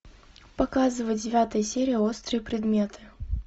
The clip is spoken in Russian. показывай девятая серия острые предметы